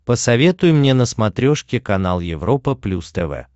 посоветуй мне на смотрешке канал европа плюс тв